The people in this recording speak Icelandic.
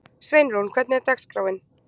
Sveinrún, hvernig er dagskráin?